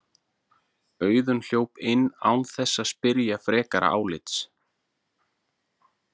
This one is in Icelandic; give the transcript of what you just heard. Auðunn hljóp inn án þess að spyrja frekara álits.